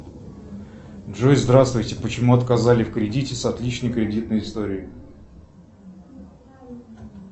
джой здравствуйте почему отказали в кредите с отличной кредитной историей